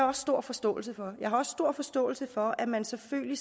også stor forståelse for jeg har også stor forståelse for at man selvfølgelig